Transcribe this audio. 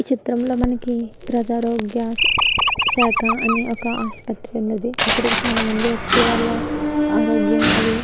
ఈ చిత్రం లో మనకి ప్రగరోగ్య శాఖ అని ఒక ఆసుపత్రి ఉన్నది ఇక్కడికి చాల మంది వచ్చే వాళ్ళ ఆరోగ్రహం అది --